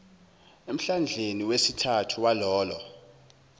emhlandleni wesithathu walolo